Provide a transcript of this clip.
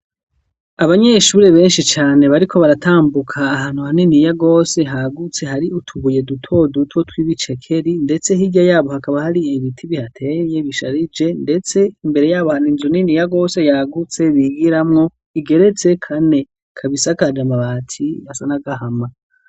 Abanyeshure benshi cane bariko baratambuka ahantu haniniya gose hagutse hari utubuye duto duto tw'ibicekeri, ndetse hirya yabo hakaba hari ibiti bihateye bisharije, ndetse imbere y'abo hari inzu niniya gose yagutse bigiramwo igeretse kane, ikaba isakaje amabati asa n'agahama.